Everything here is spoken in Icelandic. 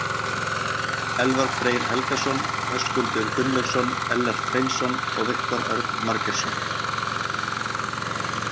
Elfar Freyr Helgason, Höskuldur Gunnlaugsson, Ellert Hreinsson og Viktor Örn Margeirsson.